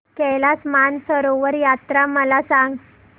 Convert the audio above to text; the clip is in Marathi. कैलास मानसरोवर यात्रा मला सांग